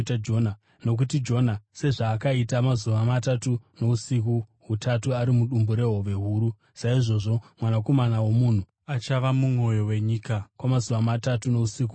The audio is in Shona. Nokuti Jona sezvaakaita mazuva matatu nousiku hutatu ari mudumbu rehove huru, saizvozvo Mwanakomana woMunhu achava mumwoyo wenyika kwamazuva matatu nousiku hutatu.